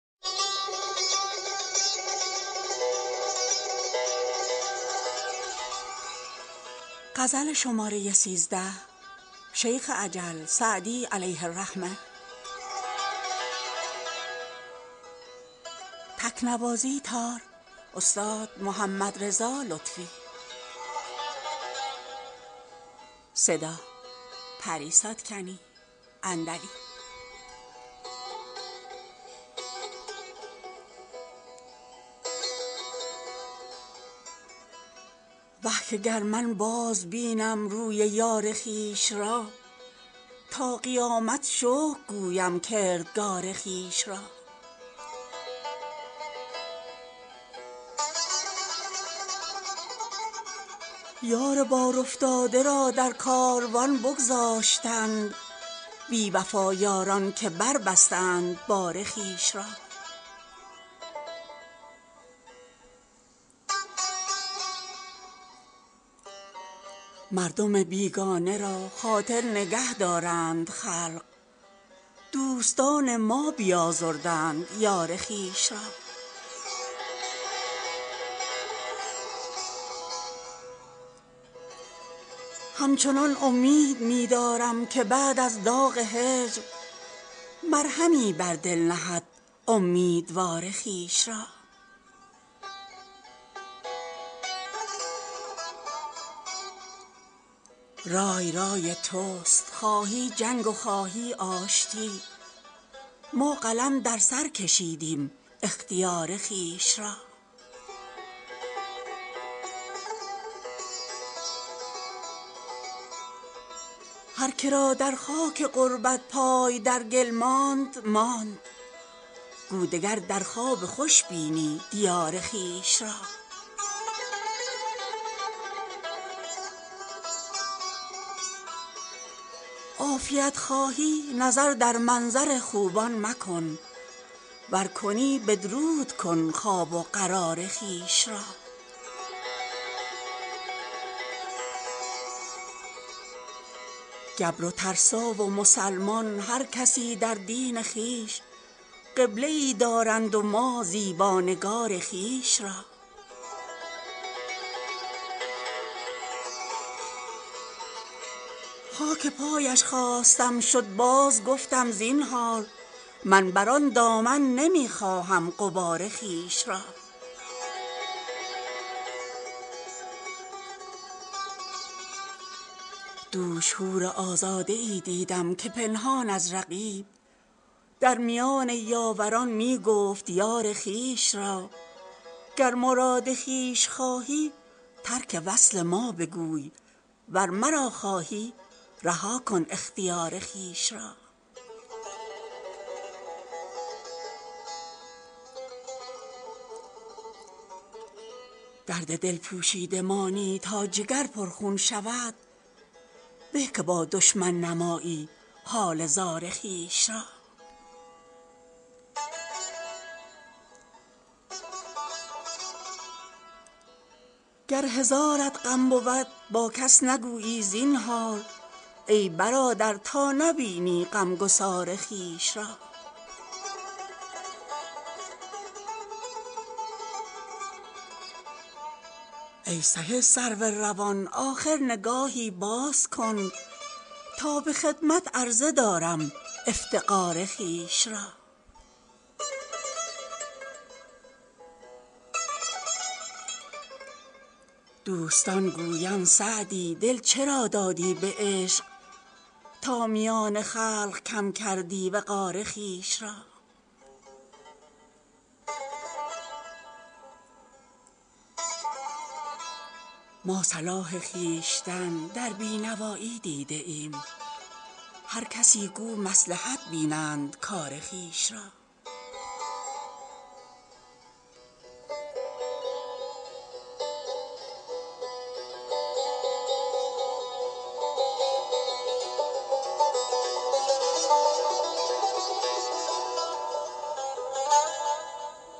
وه که گر من بازبینم روی یار خویش را تا قیامت شکر گویم کردگار خویش را یار بارافتاده را در کاروان بگذاشتند بی وفا یاران که بربستند بار خویش را مردم بیگانه را خاطر نگه دارند خلق دوستان ما بیازردند یار خویش را همچنان امید می دارم که بعد از داغ هجر مرهمی بر دل نهد امیدوار خویش را رای رای توست خواهی جنگ و خواهی آشتی ما قلم در سر کشیدیم اختیار خویش را هر که را در خاک غربت پای در گل ماند ماند گو دگر در خواب خوش بینی دیار خویش را عافیت خواهی نظر در منظر خوبان مکن ور کنی بدرود کن خواب و قرار خویش را گبر و ترسا و مسلمان هر کسی در دین خویش قبله ای دارند و ما زیبا نگار خویش را خاک پایش خواستم شد بازگفتم زینهار من بر آن دامن نمی خواهم غبار خویش را دوش حورازاده ای دیدم که پنهان از رقیب در میان یاوران می گفت یار خویش را گر مراد خویش خواهی ترک وصل ما بگوی ور مرا خواهی رها کن اختیار خویش را درد دل پوشیده مانی تا جگر پرخون شود به که با دشمن نمایی حال زار خویش را گر هزارت غم بود با کس نگویی زینهار ای برادر تا نبینی غمگسار خویش را ای سهی سرو روان آخر نگاهی باز کن تا به خدمت عرضه دارم افتقار خویش را دوستان گویند سعدی دل چرا دادی به عشق تا میان خلق کم کردی وقار خویش را ما صلاح خویشتن در بی نوایی دیده ایم هر کسی گو مصلحت بینند کار خویش را